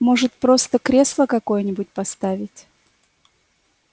может просто кресло какое-нибудь поставить